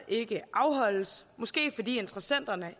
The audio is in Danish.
ikke afholdes måske fordi interessenterne